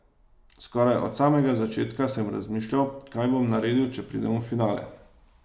Skoraj od samega začetka, sem razmišljal, kaj bom naredil, če pridem v finale.